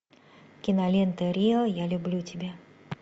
кинолента рио я люблю тебя